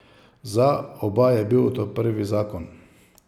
Za oba je bil to prvi zakon.